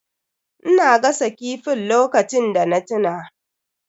Ina gasa kifin lokacin da na tuna.